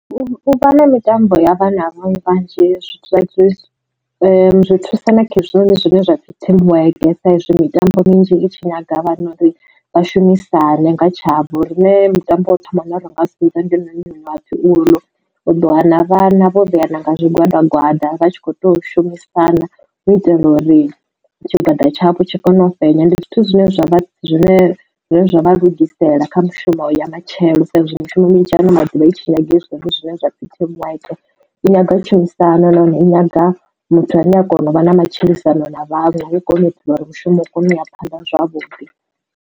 U vha na mitambo ya vhana vhanzhi zwi thusa na kha hezwinoni zwine zwa pfhi team work, sa izwi mitambo minzhi i tshi nyaga vhana uri vhashumisane nga tshavho lune mutambo wo thoma wa na ri nga sedza ndi na miṅwe une wapfhi uḽu. U ḓo wana vhana vho vheana nga zwigwada gwanda vha tshi kho to shumisa na u itela uri tshigwada tshavho tshi kone u fhenya. Ndi zwithu zwine zwavha zwine zwavha lugisela kha mushumo ya matshelo sa izwi mishumo minzhi ano maḓuvha i tshi nyaga hezwinoni zwine zwa pfhi team work i nyaga tshumisano nahone i nyaga muthu ane a kona u vha na matshilisano na vhanwe i kone u itela uri mushumo u kone u ya phanḓa zwavhuḓi.